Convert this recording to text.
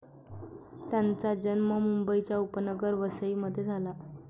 त्यांचा जन्म मुंबईच्या उपनगर वसईमध्ये झाला.